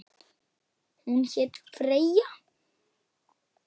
Hún hét Freyja.